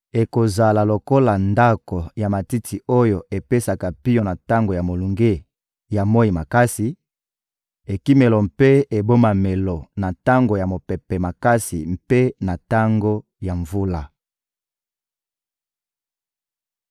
Ekozala lokola ndako ya matiti oyo epesaka pio na tango ya molunge ya moyi makasi, ekimelo mpe ebombamelo na tango ya mopepe makasi mpe na tango ya mvula.